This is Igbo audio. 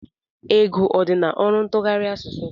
Ego ọ dị n'ọrụ ntụgharị asụsụ?